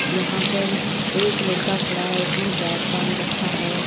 यहां पर एक लड़का खड़ा है इसने बैग टांग रखा है।